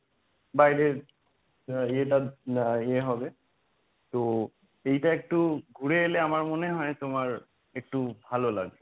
বাইরে এটা আ এ হবে তো এইটা একটু ঘুরে এলে আমার মনে হয় তোমার একটু ভালো লাগবে।